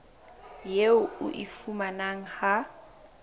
eo o e fumanang ha